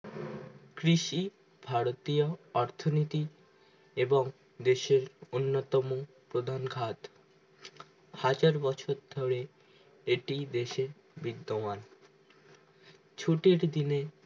কৃষি ভারতীয় অর্থনীতি এবং দেশের অন্য তমো প্রধান খাদ হাজার বছর ধরে এটি দেশে বিদ্যমান ছুটির দিনে